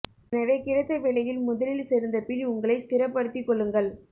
எனவே கிடைத்த வேலையில் முதலில் சேர்ந்த பின் உங்களை ஸ்த்திரபடுத்திக் கொள்ளுங்கள்